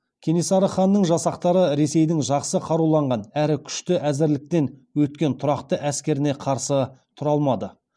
кенесары ханның жасақтары ресейдің жақсы қаруланған әрі күшті әзірліктен өткен тұрақты әскеріне қарсы тұра алмады